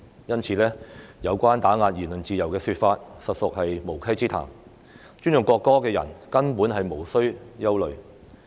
因此，有關打壓言論自由的說法，實屬無稽之談，尊重國歌的人根本無須憂慮。